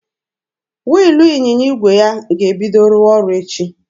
Wiilụ ịnyịnya igwe ya ga-ebido rụwa ọrụ echi.